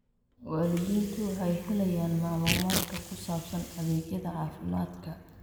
Waalidiintu waxay helayaan macluumaadka ku saabsan adeegyada caafimaadka.